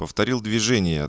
повторил движение